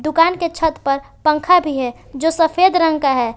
दुकान के छत पर पंखा भी है जो सफेद रंग का है।